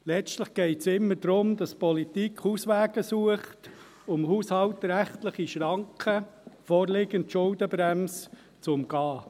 Letztlich geht es immer darum, dass die Politik Auswege sucht, um haushaltsrechtliche Schranken, vorliegend die Schuldenbremse, zu umgehen.